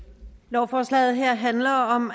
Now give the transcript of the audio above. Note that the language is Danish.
lovforslaget her handler om